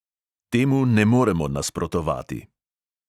Temu ne moremo nasprotovati.